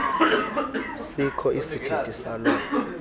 sikho isithethe saloo